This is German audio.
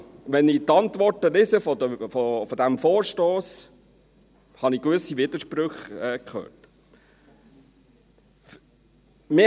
Also: Wenn ich die Antworten zu diesem Vorstoss lese, habe ich gewisse Widersprüche gehört.